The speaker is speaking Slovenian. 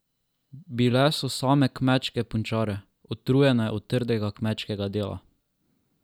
Bile so same kmečke punčare, utrjene od trdega kmečkega dela.